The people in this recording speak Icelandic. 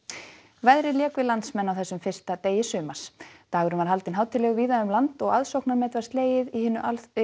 veðrið lék við landsmenn á þessum fyrsta degi sumars dagurinn var haldinn hátíðlegur víða um land og fjöldamet var slegið í hinu